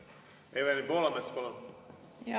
Evelin Poolamets, palun!